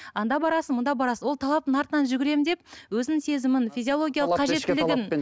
анда барасың мында барсың ол талаптың артынан жүгіремін деп өзінің сезімін физиологиялық қажеттілігін